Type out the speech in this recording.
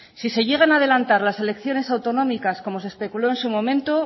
si se llegan a adelantar las elecciones autonómicas como se especuló en su momento